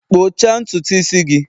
kpụchaa ntutu isi gị!